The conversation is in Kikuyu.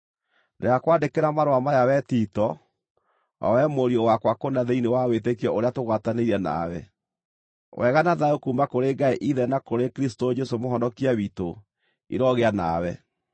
Ndĩrakwandĩkĩra marũa maya wee Tito, o wee mũriũ wakwa kũna thĩinĩ wa wĩtĩkio ũrĩa tũgwatanĩire nawe: Wega na thayũ kuuma kũrĩ Ngai Ithe na kũrĩ Kristũ Jesũ Mũhonokia witũ, irogĩa nawe.